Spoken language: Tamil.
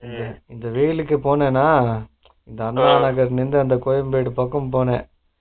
இந்த வெயிலுக்கு போனேனா அந்த கோயம்பேடு பக்கம் போனே